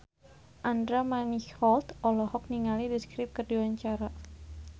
Andra Manihot olohok ningali The Script keur diwawancara